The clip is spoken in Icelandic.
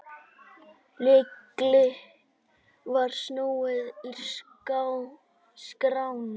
Lykli var snúið í skránni.